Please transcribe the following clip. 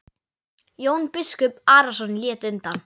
Jón biskup Arason lét undan.